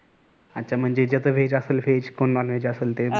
अच्छा म्हणजे ज्याच असेल veg कोण Nonveg ते